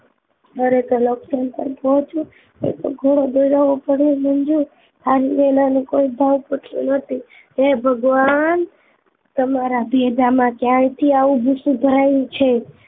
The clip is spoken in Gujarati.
ખરે ખર અક્સય ને કાલ પહોચું એ તો ભોળો બોલાવો પડે મંજુ આ લેલા ને કોઈ ભાવ પુછતું નહિ હે ભગવાન તમારા ભેજા માં ક્યાં થી આવું ભસું ભરાયું છે